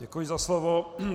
Děkuji za slovo.